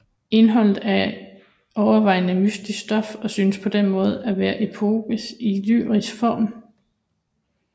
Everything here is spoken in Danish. Indholdet er overvejende mytisk stof og synes på den måde at være epos i lyrisk form